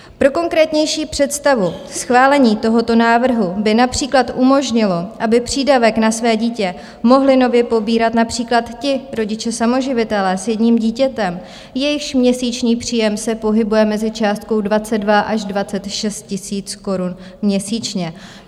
Pro konkrétnější představu, schválení tohoto návrhu by například umožnilo, aby přídavek na své dítě mohli nově pobírat například ti rodiče samoživitelé s jedním dítětem, jejichž měsíční příjem se pohybuje mezi částkou 22 až 26 tisíc korun měsíčně.